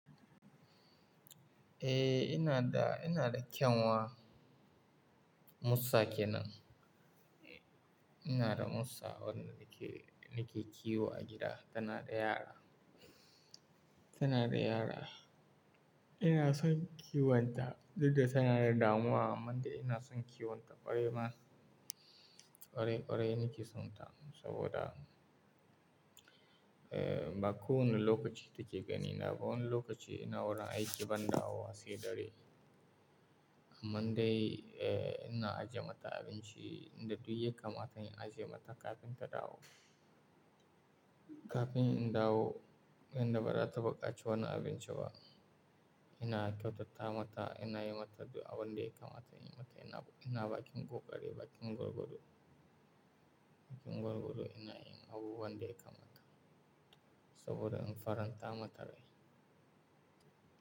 Eh, ina da, ina da kyanwa Musa kenan. Ina da Musa wanda nake, nake kiwo a gida. Tana da yara, tana da yara. Ina son kiwonta duk da tana da damuwa amma dai ina son kiwonta ƙwarai ma. Ƙwarai ƙwarai nake sonta saboda, eh, ba kowane lokaci take ganina ba. Wani lokaci ina wurin aiki ban dawo ba sai dare. Amma dai, eh, ina ajiye mata abinci in da duk yakata in ajiye mata kafin ta dawo. Kafin in dawo, yanda ba za ta buƙaci wani abinci ba, ina kyautata mata, ina yi mata abin da ya kamata, inayi mata ina, ina baƙin gogari, baƙin gurguru. Baƙin goggodo ina yin abu wanda ya kamata saboda in faranta mata rai.